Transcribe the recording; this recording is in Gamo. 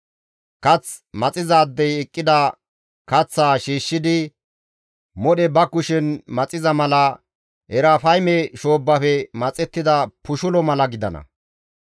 Kath maxizaadey eqqida kaththaa shiishshidi modhe ba kushen maxiza mala Erafayme shoobbafe maxettiza pushulo mala gidana.